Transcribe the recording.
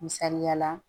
Misaliya la